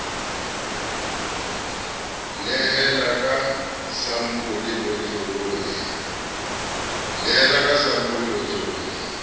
nehela ka sampole botlolong e